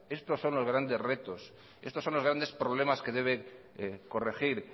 estos son los grandes retos estos son los grandes problemas que debe corregir